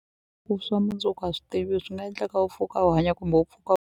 Ku swa mundzuku a swi tiviwi swi nga endleka u pfuka u hanya kumbe u pfuka.